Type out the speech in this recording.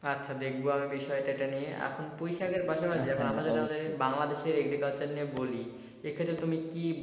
আচ্ছা দেখব আমি বিষয় টা নিয়ে আপনি পুঁই শাকের পাশাপাশি বাংলাদেশের আমাদের বাংলাদেশের agriculture নিয়ে বলি সেখানে তুমি কী